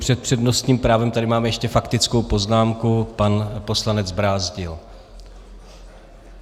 Před přednostním právem tady mám ještě faktickou poznámku - pan poslanec Brázdil.